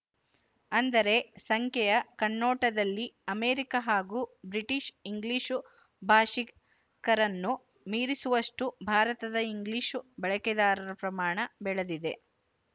ಅಂದರೆ ಸಂಖ್ಯೆಯ ಕಣ್ನೋಟದಲ್ಲಿ ಅಮೇರಿಕ ಹಾಗೂ ಬ್ರಿಟಿಶು ಇಂಗ್ಲಿಶು ಭಾಶಿಕರನ್ನು ಮೀರಿಸುವಷ್ಟು ಭಾರತದ ಇಂಗ್ಲಿಶು ಬಳಕೆದಾರರ ಪ್ರಮಾಣ ಬೆಳದಿದೆ